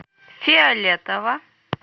фиолетово